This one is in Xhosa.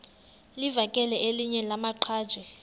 livakele elinye lamaqhaji